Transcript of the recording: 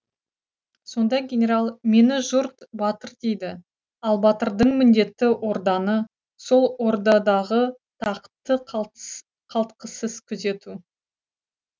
сонда генерал мені жұрт батыр дейді ал батырдың міндеті орданы сол ордадағы тақты қалтқысыз күзету